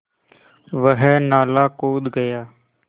वह नाला कूद गया